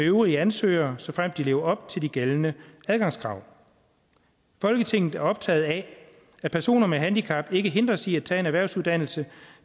øvrige ansøgere såfremt de lever op til de gældende adgangskrav folketinget er optaget af at personer med handicap ikke hindres i at tage en erhvervsuddannelse